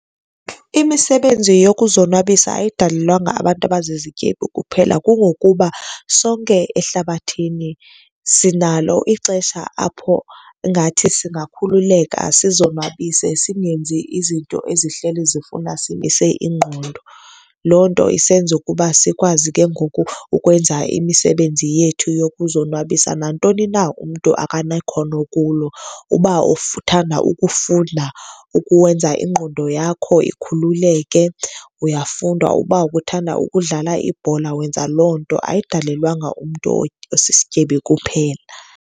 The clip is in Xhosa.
Imisebenzi yokuzonwabisa ayidalelwanga abantu abazizityebi kuphela. Kungokuba sonke ehlabathini sinalo ixesha apho ngathi singakhululeka sizonwabise, singenzi izinto ezihleli zifuna simise ingqondo. Loo nto isenza ukuba sikwazi ke ngoku ukwenza imisebenzi yethu yokuzonwabisa, nantoni na umntu akanekhono kulo. Uba uthanda ukufunda ukwenza ingqondo yakho ikhululeke, uyafunda. Uba ubuthanda ukudlala ibhola, wenza loo nto. Ayidalelwanga umntu osisityebi kuphela.